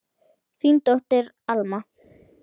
Þín dóttir, Alma.